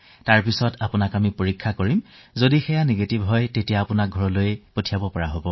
পিছত যেতিয়া আমি আপোনাৰ পৰীক্ষা কৰিম তেতিয়া ঋণাত্মক ফলাফল ওলালে ঘৰলৈ পঠিয়াই দিয়া হব